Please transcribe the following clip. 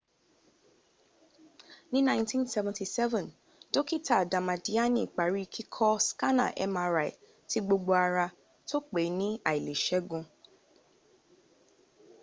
ni 1977 dokita damadiani pari kiko skana mri ti gbogbo ara to pe ni ailesegun